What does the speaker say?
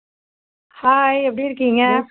hi எப்படி இருக்கீங்க